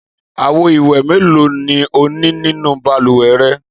Àwo-ìwẹ̀ mélòó ni ó ní nínú balùwẹ̀ rẹ?